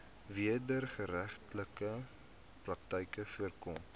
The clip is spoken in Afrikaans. wederregtelike praktyke voorkom